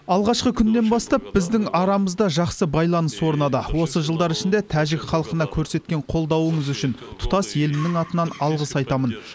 алғашқы күннен бастап біздің арамызда жақсы байланыс орнады осы жылдар ішінде тәжік халқына көрсеткен қолдауыңыз үшін тұтас елімнің атынан алғыс айтамын